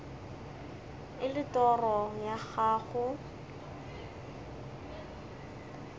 e le toro ya gago